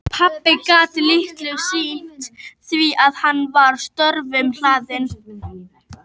Pabbi gat litlu sinnt því að hann var störfum hlaðinn.